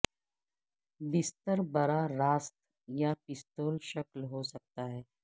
بستر براہ راست یا پستول شکل ہو سکتا ہے